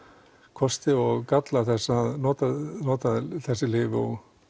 kosti og galla þess að nota að nota þessi lyf og